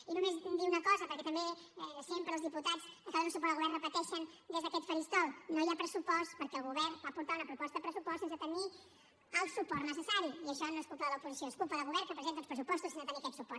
i només dir una cosa perquè també sempre els diputats que donen suport al govern ho repeteixen des d’aquest faristol no hi ha pressupost perquè el govern va portar una proposta de pressupost sense tenir el suport necessari i això no és culpa de l’oposició és culpa del govern que presenta uns pressupostos sense tenir aquest suport